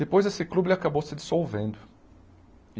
Depois esse clube ele acabou se dissolvendo.